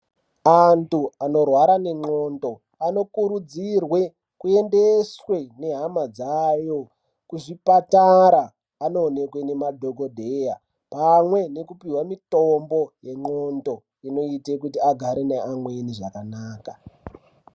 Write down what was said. Antu anorwara nendxondo anokurudzirwe kuendeswe nehama dzayo kuzvipatara anoonekwe nemadhogodheya. Pamwe nekupihwa mitombo yendxondo inoite kuti agare neamweni zvakanaka.